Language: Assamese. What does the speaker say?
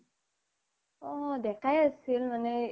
অ দেকাই আছিল মানে